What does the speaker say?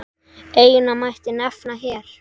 Eina mætti nefna hér.